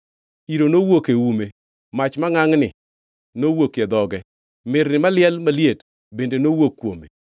Iro nowuok e ume; mach mangʼangʼni nowuokie dhoge, mirni maliel maliet bende nowuok kuome.